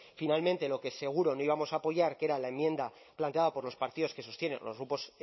finalmente lo que seguro no íbamos a apoyar que era la enmienda planteada por los partidos que sostienen o los grupos